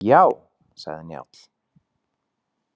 Já, sagði Njáll.